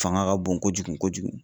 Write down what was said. Fanga ka bon kojugu kojugu.